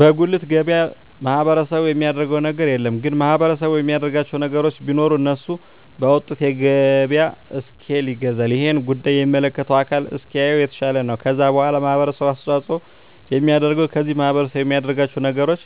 በጉልት ገበያ ማህበረሰቡ የሚያደረገው ነገር የለም ግን ማህበረሰቡ የሚያደርግላቸው ነገር ቢኖር እነሱ ባወጡት የገበያ እስኪል ይገዛል እሄን ጉዳይ የሚመለከተው አካል እንዲያየው የተሻለ ነው ከዛ በዋላ ማህበረሰቡ አስተዋጽኦ የሚያደርገው ከዚህ ማህረሰብ የሚያደርጋቸው ነገሮች